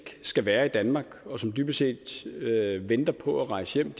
skal være i danmark og som dybest set venter på at rejse hjem